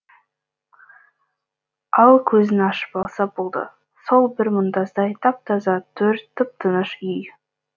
ал көзін ашып алса болды сол бір мұнтаздай тап таза төр тып тыныш үй